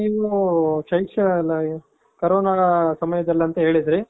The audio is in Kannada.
ನೀವು ಶೈಕ್ಷ ಅಲ್ಲ ಕೋರೋನ ಸಮಯದಲ್ಲಿ ಅಂತ ಹೇಳಿದ್ರಿ.